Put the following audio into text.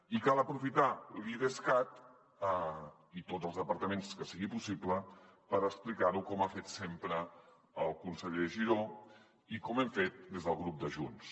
i cal aprofitar l’idescat i tots els departaments que sigui possible per explicar ho com ha fet sempre el conseller giró i com ho hem fet des del grup de junts